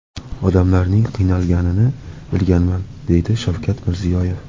Odamlarning qiynalganini bilganman”, deydi Shavkat Mirziyoyev.